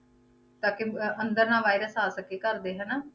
ਤਾਂ ਕਿ ਅਹ ਅੰਦਰ ਨਾ virus ਆ ਸਕੇ ਘਰ ਦੇ ਹਨਾ।